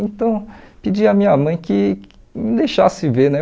Então, pedi a minha mãe que me deixasse ver, né?